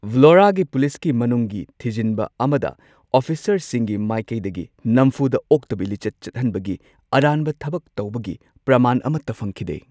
ꯚ꯭ꯂꯣꯔꯥꯒꯤ ꯄꯨꯂꯤꯁꯀꯤ ꯃꯅꯨꯡꯒꯤ ꯊꯤꯖꯤꯟꯕ ꯑꯃꯗ ꯑꯣꯐꯤꯁꯔꯁꯤꯡꯒꯤ ꯃꯥꯢꯀꯩꯗꯒꯤ ꯅꯝꯐꯨꯗ ꯑꯣꯛꯇꯕꯤ ꯂꯤꯆꯠ ꯆꯠꯍꯟꯕꯒꯤ ꯑꯔꯥꯟꯕ ꯊꯕꯛ ꯇꯧꯕꯒꯤ ꯄ꯭ꯔꯃꯥꯟ ꯑꯃꯠꯇ ꯐꯪꯈꯤꯗꯦ꯫